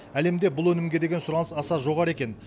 әлемде бұл өнімге деген сұраныс аса жоғары екен